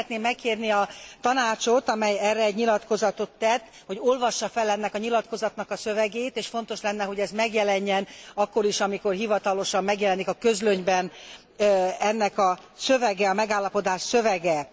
Én szeretném megkérni a Tanácsot, amely erre egy nyilatkozatot tett, hogy olvassa fel ennek a nyilatkozatnak a szövegét és fontos lenne, hogy ez megjelenjen akkor is, amikor hivatalosan megjelenik a Közlönyben ennek a szövege, a megállapodás szövege.